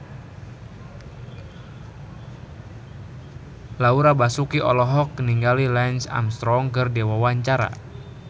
Laura Basuki olohok ningali Lance Armstrong keur diwawancara